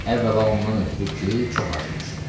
Əvvəla ondan ötrü ki, çox acımışdı.